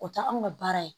O tɛ anw ka baara ye